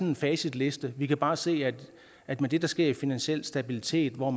en facitliste vi kan bare se at med det der sker i finansiel stabilitet hvor